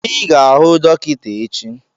I ga-ahụ dọkịta echi!